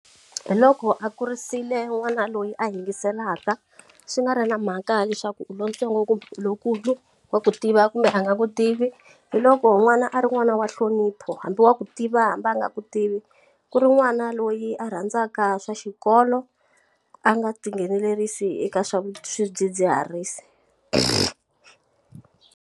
Hi loko a kurisile n'wana loyi a yingiselaka swi nga ri na mhaka leswaku u lontsongo ku lowukulu wa ku tiva kumbe a nga ku tivi hi loko n'wana a ri n'wana wa nhlonipho hambi wa ku tiva hambi a nga ku tivi ku ri n'wana loyi a rhandzaka swa xikolo a nga tinghenelerisa eka swa swidzidziharisi.